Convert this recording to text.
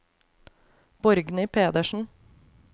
Borgny Pedersen